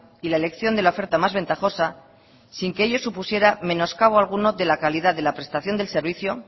y la elección de la oferta más ventajosa sin que ello supusiera menoscabo alguno de la calidad de la prestación de servicio